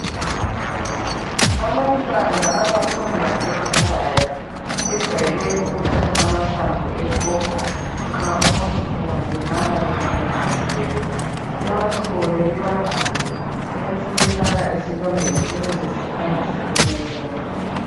Abantwana abafunda emakhaya bejwayele ukuthatha amahlamvu epopo nxa umuntu engalimala kumbe engakhubeka bewachole bewagande besebewafaka esilondeni ukuze siphangise ukuwoma.